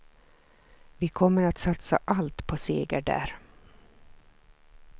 Vi kommer att satsa allt på seger där.